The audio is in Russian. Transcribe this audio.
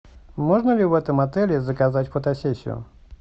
можно ли в этом отеле заказать фотосессию